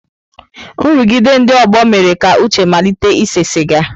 Nrụgide ndị ọgbọ mere ka Uche malite ise siga.